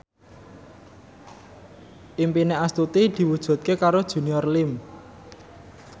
impine Astuti diwujudke karo Junior Liem